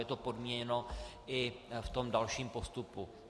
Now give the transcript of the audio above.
Je to podmíněno i v tom dalším postupu.